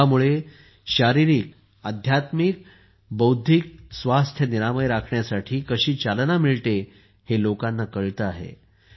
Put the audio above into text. योगामुळे शारीरिक आध्यात्मिक आणि बौद्धिक स्वास्थ्य निरामय राखण्यासाठी कशी चालना मिळते हे लोकांना कळते आहे